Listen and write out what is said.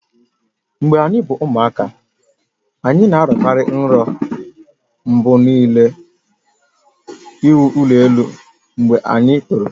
Mgbe anyi bu ụmụaka, anyị na-arọ kari nrọ mgbe niile inwe ụlọ elụ mgbe anyị toro